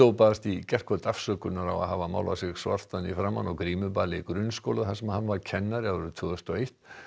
baðst í gærkvöld afsökunar á að hafa málað sig svartan í framan á grímuballi í grunnskóla þar sem hann var kennari árið tvö þúsund og eitt